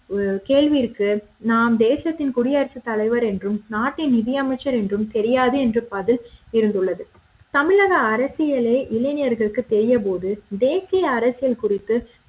கேள்விற்கு நம் தேசத்தின் குடியரசு தலைவர் என்றும் நாட்டின் நிதியமைச்சர் என்றும் தெரியாது என்று பதில் இருந்துள்ளது தமிழக அரசியலே இளைஞர்களுக்கு தெரியாதபோது தேசிய அரசியல் குறித்து